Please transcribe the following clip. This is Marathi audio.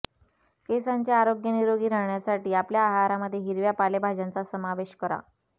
केसांचे आरोग्य निरोगी राहण्यासाठी आपल्या आहारामध्ये हिरव्या पालेभाज्यांचा समावेश करा